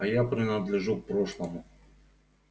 а я принадлежу к прошлому